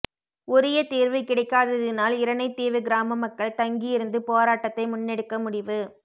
உரிய தீர்வு கிடைக்காததினால் இரணை தீவு கிராம மக்கள் தங்கி இருந்து போராட்டத்தை முன்னெடுக்க முடிவு